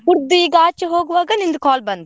ಕುಡ್ದು ಈಗ ಆಚೆ ಹೋಗ್ವಾಗ ನಿಂದು call ಬಂತು.